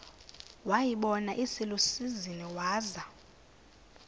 wayibona iselusizini waza